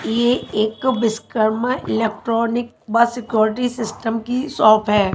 ये एक विश्वकर्मा इलेक्ट्रॉनिक बस सिक्योरिटी सिस्टम की शॉप है।